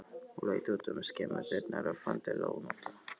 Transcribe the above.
Hún leit út um skemmudyrnar og fann til ónota.